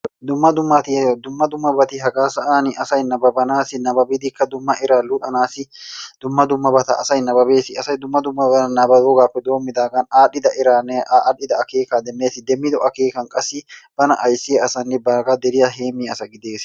Dumma dummabatti hagaa sa'an asay nababanaasiinne nababidikka dumma eraa luxxanaasi dumma dummabata asay nababees. Asay dumma dummabata nababoogaappe doomidaagan adhdhida eraa aadhdhida akeeka demmees. Demmido akeeka qassi bana ayssiya asaanne bagaa deriya heemiya asa gidees.